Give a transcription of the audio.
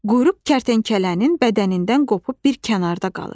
Quyruq kərtənkələnin bədənindən qopub bir kənarda qalır.